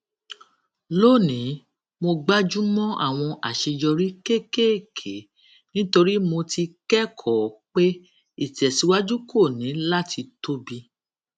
lónìí mo gbájú mọ àwọn àṣeyọrí kéékèèké nítorí mo ti kẹkọọ pé ìtẹsíwájú kò ní láti tóbi